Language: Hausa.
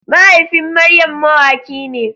Mahaifin Maryam mawaki ne.